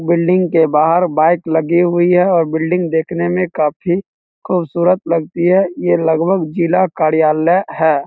Building के बाहर bike लगी हुई है और बिल्डिंग देखने में काफी खूबसूरत लगती है ये लगभग जिला कार्यालय है।